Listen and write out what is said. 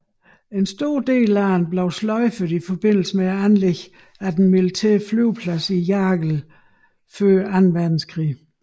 En stor del af den blev sløjfet i forbindelse med anlæggelsen af den militære flyveplads i Jagel før Anden Verdenskrig